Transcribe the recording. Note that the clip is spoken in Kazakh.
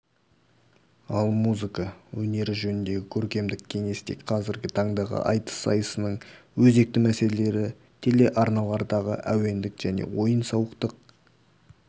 ал музыка өнері жөніндегі көркемдік кеңесте қазіргі таңдағы айтыс сайысының өзекті мәселелері телеарналардағы әуендік және ойын-сауықтық